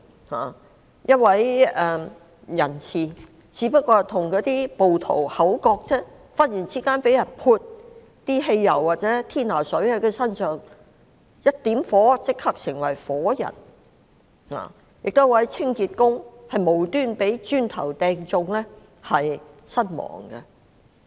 例如一位人士只是與暴徒口角，便忽然被人在身上淋潑汽油或天拿水甚麼的，點火後立即成為火人；亦有一名清潔工無辜被磚頭擊中身亡。